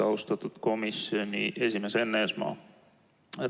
Austatud komisjoni esimees Enn Eesmaa!